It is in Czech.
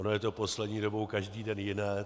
Ono je to poslední dobou každý den jiné.